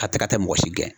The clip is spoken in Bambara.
A tɛ ka taa mɔgɔ si gɛn